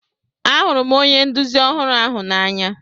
Ahụrụ m onye nduzi ọhụrụ ahu n'anya.